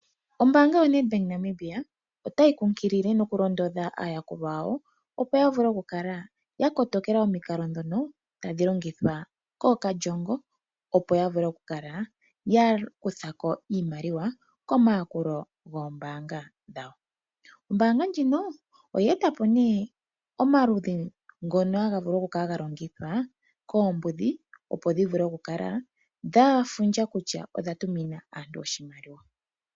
Ombaanga yaNedbank ya Namibia otayi kunkilile noku londodha aayakulwa yawo opo yavule okukala ya kotokela omikalo ndhono tadhi longithwa kookalyongo opo yavule okukala ya kuthako iimaliwa komayukolo goombaanga dhawo. Ombaanga ndjino oye etapo nee omaludhi ngono haga vulu okukala ga longithwa koombudhi opo dhivule okukala dha fundja kutya odha tumina aantu oshimaliwa